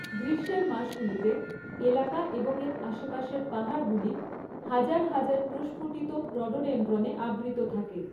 গ্রীষ্মের মাসগুলিতে, এলাকা এবং এর আশেপাশের পাহাড়গুলি হাজার হাজার প্রস্ফুটিত রডোডেনড্রনে আবৃত থাকে।